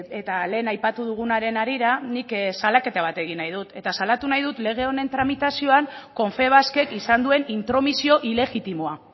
eta lehen aipatu dugunaren harira nik salaketa bat egin nahi dut eta salatu nahi dut lege honen tramitazioan confebaskek izan duen intromisio ilegitimoa